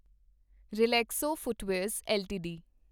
Relaxo footwears LTD